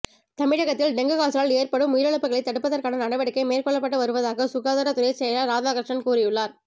தமிழகத்தில் டெங்கு காய்ச்சலால் ஏற்படும் உயிரிழப்புகளைத் தடுப்பதற்கான நடவடிக்கை மேற்கொள்ளப்பட்டு வருவதாக சுகாதார துறை செயலர் ராதாகிருஷ்ணன் கூறியுள்ளார்